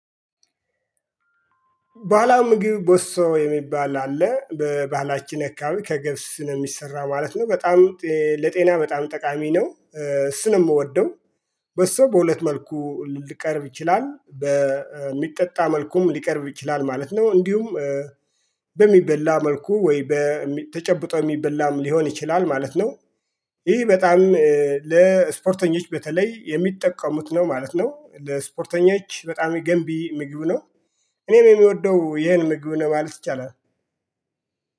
ባህላዊ ምግብ በሶ የሚባል አለ በባህላችን አካባቢ ከገብስ ነው የሚሰራው ማለት ነው በጣም ለጤና በጣም ጠቃሚ ነው እሱን ነው የምወደው። በሶ በሁለት መልኩ ሊቀርብ ይችላል በሚጠጣ መልኩም ሊቀርብ ይችላል ማለት ነው። እንዲሁም በሚበላ መልኩ ወይ ተጨብጦ የሚበላም ሊሆን ይችላል ማለት ነው። ይሄ በጣም ለስፖርተኞች በተለይ የሚጠቀሙት ነው ማለት ነው። ለስፖርተኞች በጣም ገንቢ ምግብ ነው። እኔም የምወደው ይሄን ምግብ ነው ማለት ይቻላል።